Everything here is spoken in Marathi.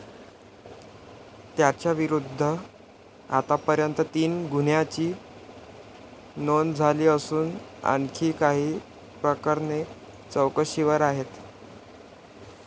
त्याच्याविरुद्ध आतापर्यंत तीन गुन्ह्यांची नोंद झाली असून आणखी काही प्रकरणे चौकशीवर आहेत.